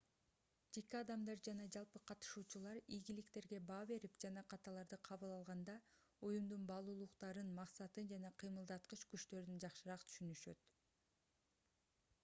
жеке адамдар жана жалпы катышуучулар ийгиликтерге баа берип жана каталарды кабыл алганда уюмдун баалуулуктарын максатын жана кыймылдаткыч күчтөрүн жакшыраак түшүнүшөт